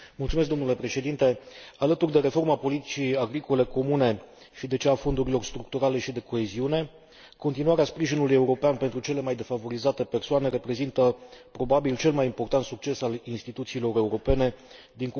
Alături de reforma politicii agricole comune și de cea a fondurilor structurale și de coeziune, continuarea sprijinului european pentru cele mai defavorizate persoane reprezintă probabil cel mai important succes al instituțiilor europene din cursul actualei legislaturi.